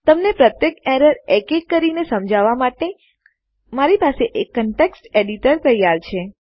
તમને પ્રત્યેક એરર એક એક કરીને સમજાવવા માટે મારી પાસે એક કંટેક્સ્ટ એડિટર તૈયાર છે